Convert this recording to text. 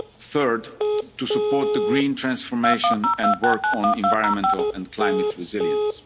law and security. Third, to support the green transformation and work on environmental and